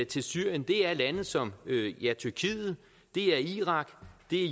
til syrien er lande som tyrkiet irak